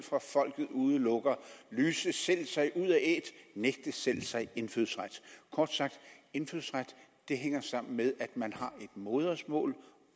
fra folket udelukker lyser selv sig ud af æt nægter selv sig indfødsret kort sagt indfødsret hænger sammen med at man har et modersmål